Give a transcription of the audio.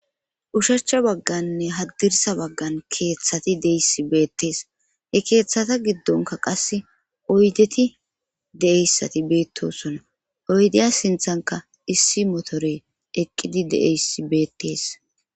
Ushacha bagganne haddirsa baggan keeththati deyss beettees he keeththata giddonka qasse oydeti de7eyssati beettosona oydeya sinthanka issi motorey eqqidi de7eysi beettees